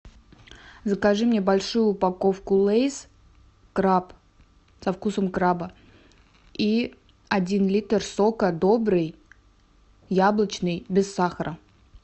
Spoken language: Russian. закажи мне большую упаковку лейс краб со вкусом краба и один литр сока добрый яблочный без сахара